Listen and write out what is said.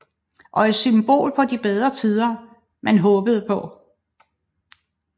Og et symbol på de bedre tider man håbede på